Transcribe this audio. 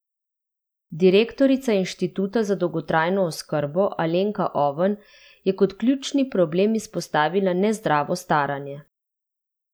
Direktorica Inštituta za dolgotrajno oskrbo Alenka Oven je kot ključni problem izpostavila nezdravo staranje.